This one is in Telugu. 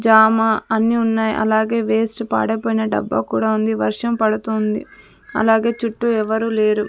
జామ అని ఉన్నాయి అలాగే వేస్ట్ పాడైపోయిన డబ్బా కూడా ఉంది వర్షం పడుతుంది అలాగే చుట్టూ ఎవరూ లేరు.